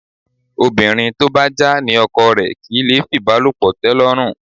Obìnrin tó bá já ní ọkọ rẹ̀ kì í lè fìbálòpọ̀ tẹ́lọ́rùn